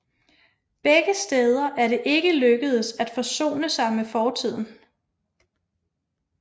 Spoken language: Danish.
Begge steder er det ikke lykkedes at forsone sig med fortiden